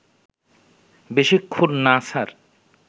বেশিক্ষণ না, স্যার